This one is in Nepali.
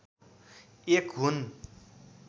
एक हुन्।